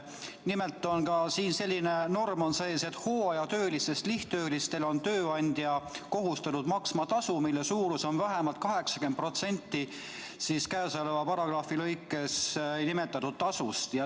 Nimelt on ka siin selline norm sees, et hooajatöötajast lihttöölisele on tööandja kohustatud maksma tasu, mille suurus on vähemalt 80% käesoleva paragrahvi lõikes 13 nimetatud tasust.